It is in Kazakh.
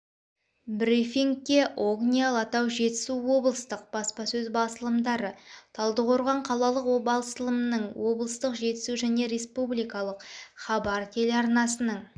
брифингке огни алатау жетісу облыстық баспасөз басылымдары талдықорған қалалық басылымының облыстық жетісу және республиқалық хабар телеарнасынының